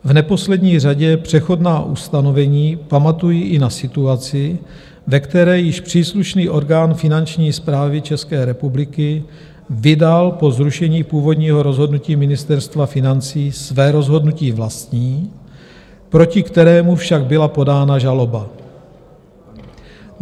V neposlední řadě přechodná ustanovení pamatují i na situaci, ve které již příslušný orgán Finanční správy České republiky vydal po zrušení původního rozhodnutí Ministerstva financí své rozhodnutí vlastní, proti kterému však byla podána žaloba.